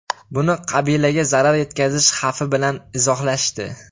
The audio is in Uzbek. Buni qabilaga zarar yetkazish xavfi bilan izohlashdi.